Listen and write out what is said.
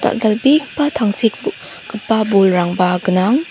dal·dalbegipa tangsek bo-gipa bolrangba gnang.